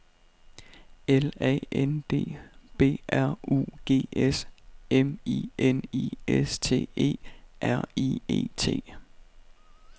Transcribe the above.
L A N D B R U G S M I N I S T E R I E T